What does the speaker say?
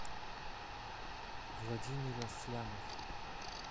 владимир аслямов